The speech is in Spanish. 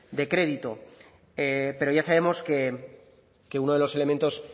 de crédito pero ya sabemos que uno de los elementos